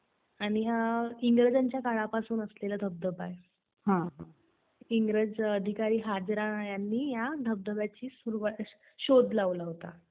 आणि हा इंग्रजांच्या काळापासून असलेला धबधबा आहे, इंग्रज अधिकारी हाजरा यांनी या धबधब्याचा शोध लावला होता.